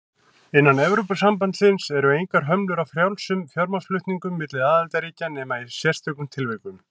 Innan Evrópusambandsins eru engar hömlur á frjálsum fjármagnsflutningum milli aðildarríkja nema í sérstökum tilvikum.